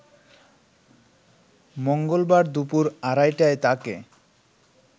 মঙ্গলবার দুপুর আড়াইটায় তাকে